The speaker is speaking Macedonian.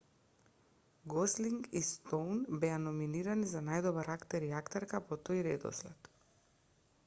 гослинг и стоун беа номинирани за најдобар актер и актерка по тој редослед